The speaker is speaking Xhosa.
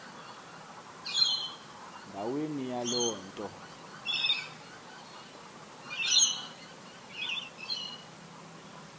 ndaweni yaloo nto